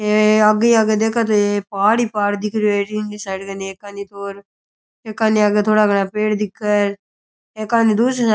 हे आगे आगे देखे तो पहाड़ ही पहाड़ दिख रहियो है जीवनी साइड कानि एकानी तो र एकानी आगे थोड़ा घना पेड़ दिखे एकानी दूसरी साई --